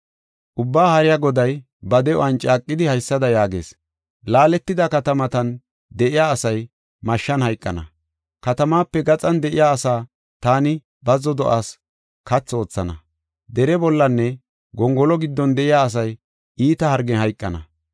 Ubbaa Haariya Goday ba de7uwan caaqidi haysada yaagees: “Laaletida katamatan de7iya asay mashshan hayqana; katamaape gaxan de7iya asaa taani bazzo do7aas kathi oothana; dere bollanne gongolo giddon de7iya asay iita hargen hayqana.